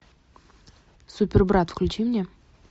супербрат включи мне